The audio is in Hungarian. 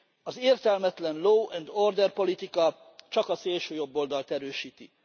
Az értelmetlen law and order politika csak a szélsőjobboldalt erősíti.